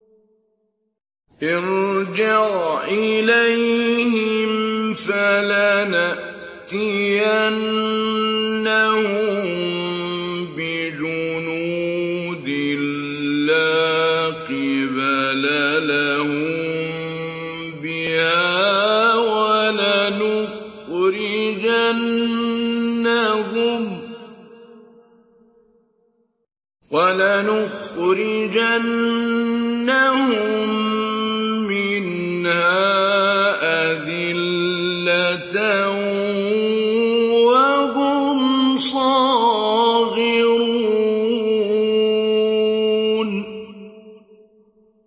ارْجِعْ إِلَيْهِمْ فَلَنَأْتِيَنَّهُم بِجُنُودٍ لَّا قِبَلَ لَهُم بِهَا وَلَنُخْرِجَنَّهُم مِّنْهَا أَذِلَّةً وَهُمْ صَاغِرُونَ